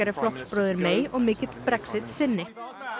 er flokksbróðir og mikill Brexit sinni